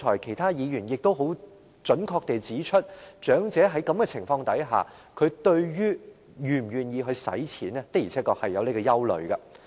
其他議員剛才亦很準確地指出，長者在這情況下，對於是否願意花錢確實存在憂慮。